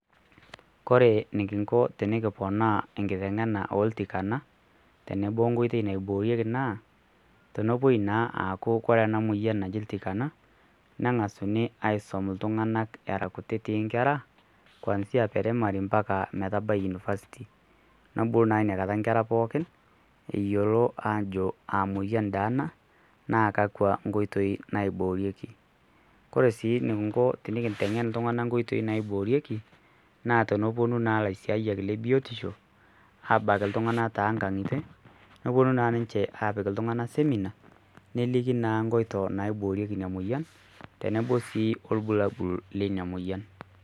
Kore nikinko tenikiponaa enkitengena oltikana tenebo onkoitei naiboorieki naa tenepoi naa aaku kore ena moyiana naji ltikana nengasuni aisum ltunganak era kutiti inkerra kwanzia mpaka metabaki university nebulu naa inakata inkerra pookin eyolo aajo kaa moyian dei ana, naa kakwa nkoitoi naiboorieki. Kore sii nikinko tenikintengen ltungana nkoitoibnaiboorieki naa teneponu naa lasiayak le biotisho abaak ltungana too nkangitie neponu naa ninche aapik ltungana simina neliki naa nkoito naiboorikie ina moyian tenebo sii oolbulabul le ina moyian.